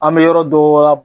An bɛ yɔrɔ dɔ wa